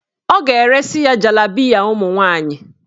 Ọ ga-eresi ya jalabiya ụmụnwaanyị.